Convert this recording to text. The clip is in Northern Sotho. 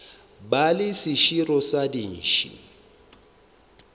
ba le seširo sa dintšhi